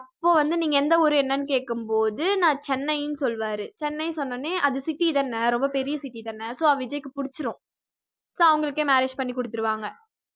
அப்ப வந்து நீங்க எந்த ஊரு என்னன்னு கேட்கும் போது நான் சென்னையின்னு சொல்வாரு சென்னை சொன்ன உடனே அது city தானே ரொம்ப பெரிய city தானே so விஜய்க்கு புடிச்சிடும் so அவங்களுக்கே marriage பண்ணி குடுத்துடுவாங்க